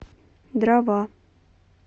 дрова